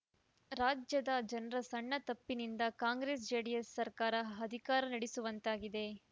ರಾಜ್ಯದ ಜನರ ಸಣ್ಣ ತಪ್ಪಿನಿಂದ ಕಾಂಗ್ರೆಸ್ ಜೆಡಿಎಸ್ ಸರ್ಕಾರ ಅಧಿಕಾರ ನಡೆಸುವಂತಾಗಿದೆ